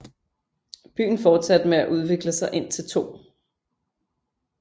Byen fortsatte med at udvikle sig indtil 2